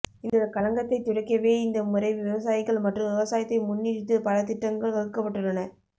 இந்த களங்கத்தை துடைக்கவே இந்த முறை விவசாயிகள் மற்றும் விவசாயத்தை முன்னுறித்தி பல திட்டங்கள் வகுக்கப்பட்டுள்ளன